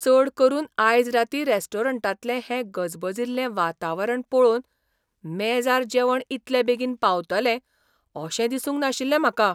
चड करून आयज रातीं रेस्टॉरंटांतलें हें गजबजिल्लें वातावरण पळोवन मेजार जेवण इतले बेगीन पावतलें अशें दिसूंक नाशिल्लें म्हाका.